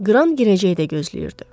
Qran girəcəkdə gözləyirdi.